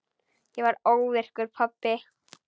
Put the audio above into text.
Ég varð óvirkur pabbi.